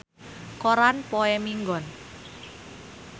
Priyanka Chopra aya dina koran poe Minggon